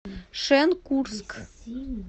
шенкурск